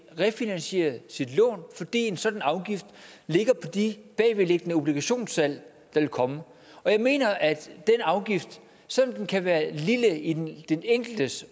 refinansiere sit lån fordi en sådan afgift ligger på de bagvedliggende obligationssalg der vil komme jeg mener at den afgift selv om den kan være lille i den den enkeltes